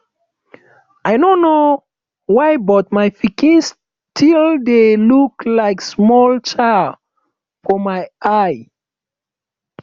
i no know why but my pikin still dey look like small child for my eye